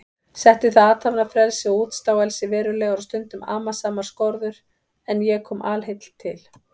Setti það athafnafrelsi og útstáelsi verulegar og stundum amasamar skorður, en ég kom alheill til